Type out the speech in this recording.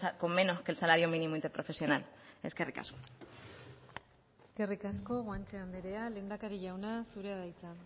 con menos que el salario mínimo interprofesional eskerrik asko eskerrik asko guanche andrea lehendakari jauna zurea da hitza